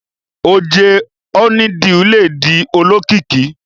Oje honeydew ledi olókìkí